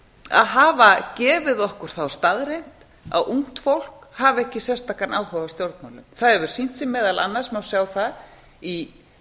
að hafa gefið okkur þá staðreynd að ungt fólk hafi ekki sérstakan áhuga á stjórnmálum það hefur sýnt sig á má sjá það í